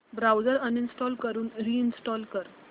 browser uninstall करून reinstall कर